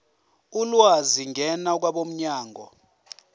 ulwazi ngena kwabomnyango